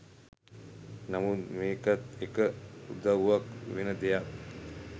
නමුත් මේකත් එක උදවුවක් වෙන දෙයක්.